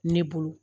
Ne bolo